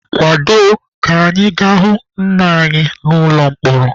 Kwado ka anyị ga-ahụ nna anyị n'ụlọ mkpọrọ.